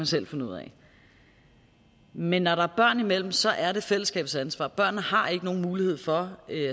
selv finde ud af men når der er børn imellem så er det fællesskabets ansvar børnene har ikke nogen mulighed for